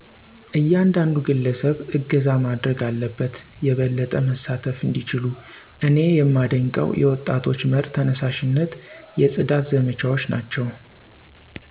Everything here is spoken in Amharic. እያንዳንዱ ግለሰብ እገዛ ማረግ አለበት የበለጠ መሳተፍ እንዲችሉ። እኔ የማደንቀው የወጣቶች መር ተነሳሺነት የፅዳት ዘመቻዎች ናቸው።